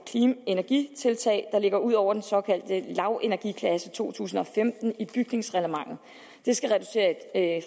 energitiltag der ligger ud over den såkaldte lavenergiklasse to tusind og femten i bygningsreglementet det skal